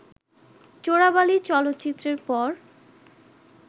চোরাবালি চলচ্চিত্রের পর